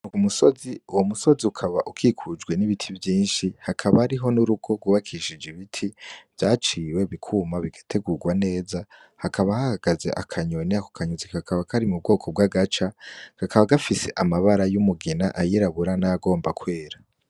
Umusozi uwo musozi ukaba ukikujwe n'ibiti vyinshi hakaba hariho n'urugo rwubakishije ibiti vyaciwe bikuma bigategurwa neza hakaba hahagaze akanyoni ako kanyoni kakaba kari mu bwoko bw'agaca kakaba gafise amabara y'umugina ayirabura nay'agomba kwera.